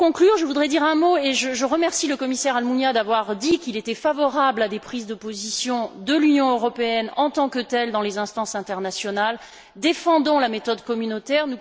Pour conclure, je voudrais remercier le commissaire Almunia d'avoir dit qu'il était favorable à des prises de position de l'Union européenne en tant que telle dans les instances internationales, défendant la méthode communautaire.